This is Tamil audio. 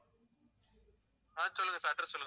ஆஹ் சொல்லுங்க sir address சொல்லுங்க